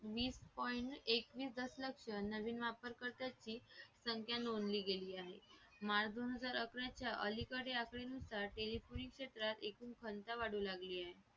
वीस point एकवीस दशलक नवीन वापर कर्त्यांची संख्या नोंदली गेली आहे माल दोन हजार आकरा च्या अलीकडे आकडेनुसार टेलिफोनचे एकूण संख्या वाढू लागली आहे